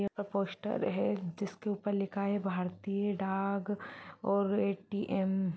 यह पोस्ट है जिसके ऊपर लिखा है भारतीय डाक और ए.टी.एम --